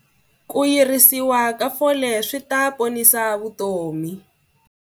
Ku yirisiwa ka fole swi ta ponisa vutomi.